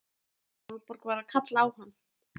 Sólborg var að kalla á hann!